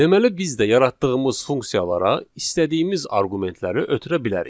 Deməli biz də yaratdığımız funksiyalara istədiyimiz arqumentləri ötürə bilərik.